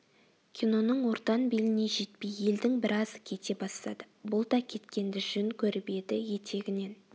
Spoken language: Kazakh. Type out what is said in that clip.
киноның ортан беліне жетпей елдің біразы кете бастады бұл да кеткенді жөн көріп еді етегінен